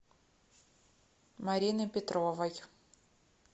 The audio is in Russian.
марины петровой